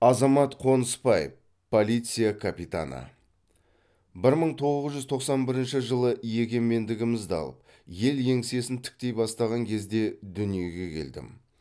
азамат қоныспаев полиция капитаны бір мың тоғыз жүз тоқсан бірінші жылы егемендігімізді алып ел еңсесін тіктей бастаған кезде дүниеге келдім